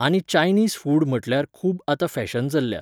आनी Chinese food म्हटल्यार खूब आतां फॅशन चल्ल्या .